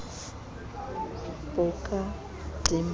po ka dimpa a be